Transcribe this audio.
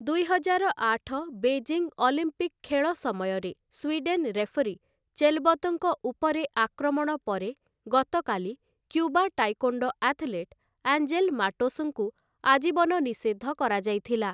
ଦୁଇହଜାର ଆଠ Beijing Olympic ଖେଳ ସମୟରେ ସ୍ୱିଡେନ୍ ରେଫରି ଚେଲବତ୍‌ଙ୍କ ଉପରେ ଆକ୍ରମଣ ପରେ ଗତକାଲି କ୍ୟୁବା ଟାଏକ୍ୱୋଣ୍ଡୋ ଆଥଲେଟ୍ ଆଞ୍ଜେଲ ମାଟୋସ୍‌ଙ୍କୁ ଆଜୀବନ ନିଷେଧ କରାଯାଇଥିଲା ।